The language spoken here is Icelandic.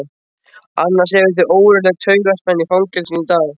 Annars hefur verið ógurleg taugaspenna í fangelsinu í dag.